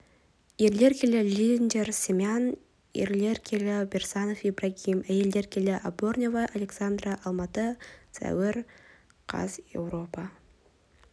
ерлер келі линдер семен ерлер келі берсанов ибрагим әйелдер келі аборнева александра алматы сәуір қаз еуропа